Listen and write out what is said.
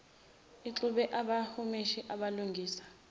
ixube abahumushi abalungisa